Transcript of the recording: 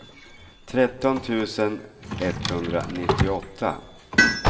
tretton tusen etthundranittioåtta